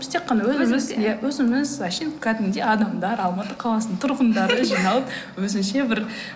біз тек қана өзіміз иә өзіміз әншейін кәдімгідей адамдар алматы қаласының тұрғындары жиналып өзінше бір